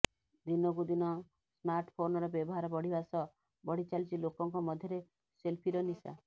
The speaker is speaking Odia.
ଦିନକୁ ଦିନ ସ୍ମାର୍ଟଫୋନର ବ୍ୟବହାର ବଢିବା ସହ ବଢିଚାଲିଛି ଲୋକଙ୍କ ମଧ୍ୟରେ ସେଲଫିର ନିଶା